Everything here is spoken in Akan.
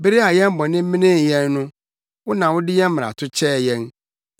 Bere a yɛn bɔne menee yɛn no, wo na wode yɛn mmarato kyɛɛ yɛn.